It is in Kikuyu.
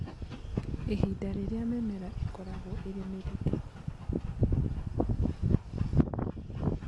Ihinda rĩrĩa mĩmera ĩkoragwo ĩrĩ mĩritũ